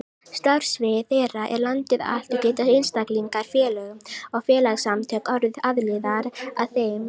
Starfsvið þeirra er landið allt og geta einstaklingar, félög og félagasamtök orðið aðilar að þeim.